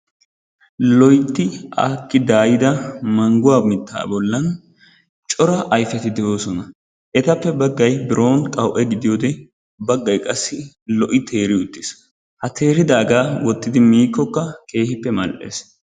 Loytti aakki daayida mangguwa mittaa bollan cora ayfeti de'oosona. Etappe baggay biroon qawu'e gidiyoode baggay qassi lo''i teeri uttis ha teeridaagaa wottidi miikkokka keehippe mal''es